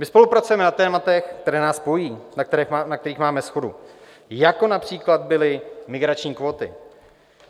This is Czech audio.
My spolupracujeme na tématech, která nás spojují, na kterých máme shodu, jako například byly migrační kvóty.